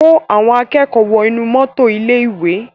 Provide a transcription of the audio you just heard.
Kó àwọn akẹ́kọ̀ọ́ wọ inú mọ́tò ilé-ìwé!